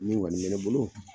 Min kɔni be ne bolo